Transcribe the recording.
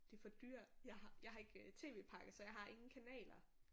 De for dyre jeg har jeg har ikke tv-pakke så jeg har ingen kanaler